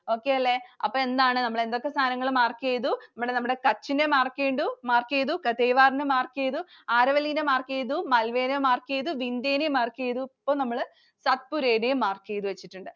Okay അല്ലെ? അപ്പോൾ എന്താണ്? നമ്മൾ എന്തൊക്കെ സാധനങ്ങൾ mark ചെയ്തു? നമ്മൾ നമ്മുടെ Kutch നെ mark ചെയ്തു, mark ചെയ്തു Kathiawar നെ mark ചെയ്തു, Aravalli നെ mark ചെയ്തു, Malwa നെ mark ചെയ്തു, Vindya നെ mark ചെയ്തു, ഇപ്പോൾ Satpura യും mark ചെയ്തു വെച്ചിട്ടുണ്ട്.